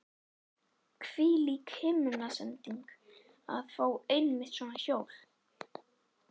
Hvílík himnasending að fá einmitt svona hjól!